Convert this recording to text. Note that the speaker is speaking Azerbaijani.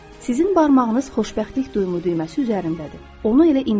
Sizin barmağınız xoşbəxtlik duyumu düyməsi üzərindədir.